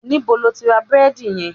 Níbo ni o ti ra búrédì yen?